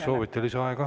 Kas soovite lisaaega?